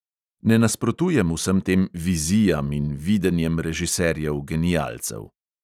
Ne nasprotujem vsem tem "vizijam" in "videnjem" režiserjev genialcev.